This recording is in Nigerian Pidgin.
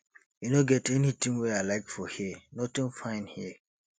e no get anything wey i like for here nothing fine here